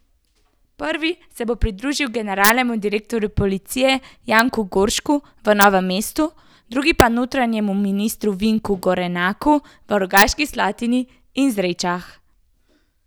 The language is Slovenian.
Prvi se bo pridružil generalnemu direktorju policije Janku Goršku v Novem mestu, drugi pa notranjemu ministru Vinku Gorenaku v Rogaški Slatini in Zrečah.